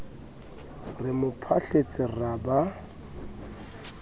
re mo phahletse ra ba